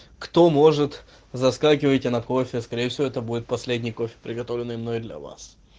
кто может заскакивайте на кофе скорее всего это будет последний кофе приготовленный мной для вас